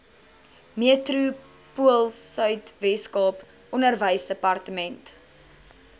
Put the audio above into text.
metropoolsuid weskaap onderwysdepartement